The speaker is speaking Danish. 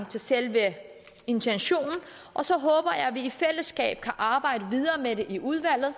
til selve intentionen og så håber jeg at vi i fællesskab kan arbejde videre med det i udvalget